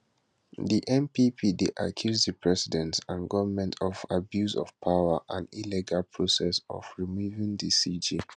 di npp dey accuse di president and goment of abuse of power and illegal process of removing di cj